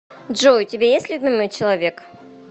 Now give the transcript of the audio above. джой у тебя есть любимый человек